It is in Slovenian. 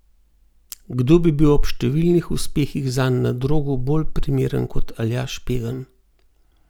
Kdo bi bil ob številnih uspehih zanj na drogu bolj primeren kot Aljaž Pegan?